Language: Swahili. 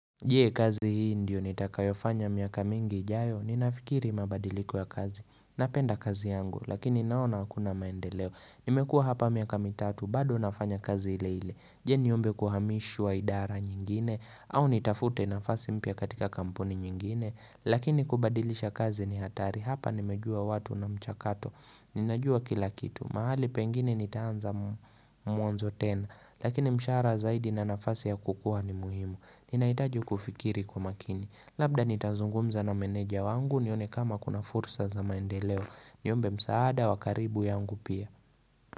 Je kazi hii ndio nitakayofanya miaka mingi ijayo, ninafikiri mabadiliko ya kazi, napenda kazi yangu, lakini naona hakuna maendeleo, nimekua hapa miaka mitatu, bado nafanya kazi ile ile, je niombe kuhamishwa idara nyingine, au nitafute nafasi mpya katika kampuni nyingine, lakini kubadilisha kazi ni hatari, hapa nimejua watu na mchakato, ninajua kilakitu, mahali pengine nitaanza mwanzo tena, lakini mshaara zaidi na nafasi ya kukua ni muhimu. Ninaitaji kufikiri kwa makini Labda nitanzungumza na meneja wangu nione kama kuna fursa za maendeleo Niombe msaada wakaribu yangu pia.